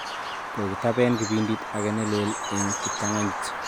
Kokitaben kibindit age ne lel eng' kiptanganyit